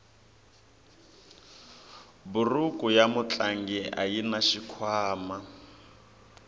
buruku ya mutlangi ayina xikhwama